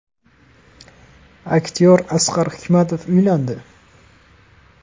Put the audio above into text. Aktyor Asqar Hikmatov uylandi.